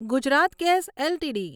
Gujarat gas LTD